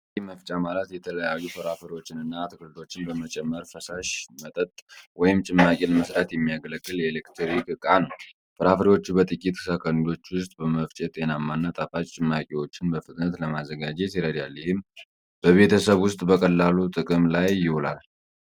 ጭማቂ መፍጫ ማለት የተለያዩ ፍራፍሬዎችንና አትክልቶችን በመጨመር ፈሳሽ መጠጥ (ጭማቂ) ለመሥራት የሚያገለግል የኤሌክትሪክ ዕቃ ነው። ፍራፍሬዎቹን በጥቂት ሰኮንዶች ውስጥ በመፍጨት ጤናማና ጣፋጭ ጭማቂዎችን በፍጥነት ለማዘጋጀት ይረዳል። ይህም በቤተሰብ ውስጥ በቀላሉ ጥቅም ላይ ይውላል።